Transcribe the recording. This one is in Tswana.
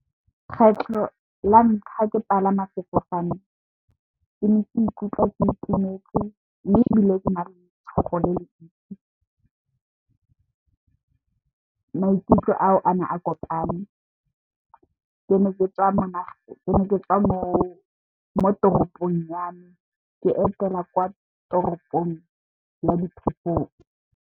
Kgetlho la ntlha ke palama sefofane ke ne ke ikutlwa ke itumetse mme, ebile ke na le letshogo le le ntsi. Maikutlo ao a ne a kopane ke ne ke tswa mo toropong ya me ke etela kwa toropong ya Diphosong.